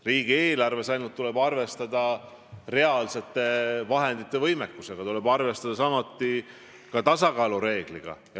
Riigieelarves paraku tuleb arvestada reaalsete vahendite olemasoluga, tuleb arvestada ka tasakaalu reegliga.